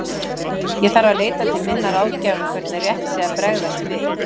Ég þarf að leita til minna ráðgjafa um hvernig rétt sé að bregðast við.